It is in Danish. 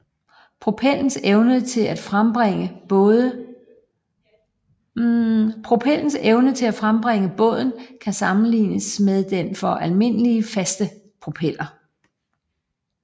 Propellens evne til at frembringe båden kan sammenlignes med den for almindelige faste propeller